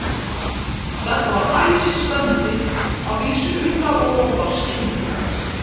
Engum manni hafði tekist að bjarga úr heljargreipum fljótsins.